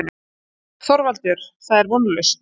ÞORVALDUR: Það er vonlaust.